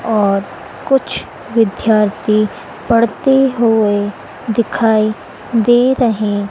और कुछ विद्यार्थी पढ़ते हुए दिखाई दे रहे--